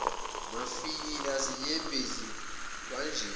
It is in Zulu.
mafinyila zinyembezi kwanjeya